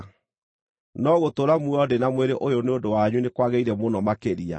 no gũtũũra muoyo ndĩ na mwĩrĩ ũyũ nĩ ũndũ wanyu nĩ kwagĩrĩire mũno makĩria.